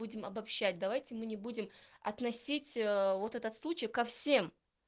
будем обобщать давайте мы не будем относить вот этот случай ко всем